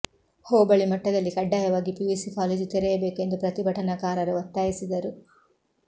ಹೋಬಳಿ ಮಟ್ಟದಲ್ಲಿ ಕಡ್ಡಾಯವಾಗಿ PUC college ತೆರೆಯಬೇಕು ಎಂದು ಪ್ರತಿಭಟನಾಕಾರರು ಒತ್ತಾಯಿಸಿದರು